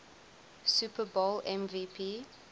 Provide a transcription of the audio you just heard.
super bowl mvp